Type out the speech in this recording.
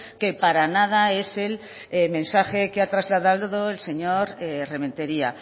que para nada es el mensaje que ha trasladado el señor rementeria